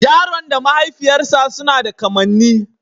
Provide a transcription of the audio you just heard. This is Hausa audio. Yaron da mahaifiyarsa suna da kamanni